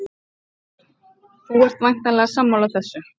Höskuldur: Þú ert væntanlega sammála þessu?